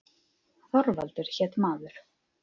Þorvaldur hét maður.